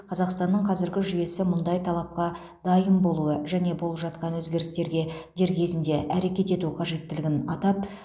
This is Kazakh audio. қазақстанның қазіргі жүйесі мұндай талапқа дайын болуы және болып жатқан өзгерістерге дер кезінде әрекет ету қажеттілігін атап